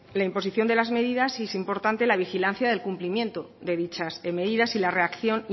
la imposición de las medidas y es importante la vigilancia del cumplimiento de dichas medidas y la reacción